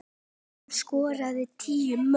Hann skoraði tíu mörk.